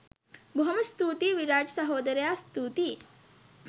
බොහොම ස්තුතියි විරාජ් සහෝදරයා ස්තුතියි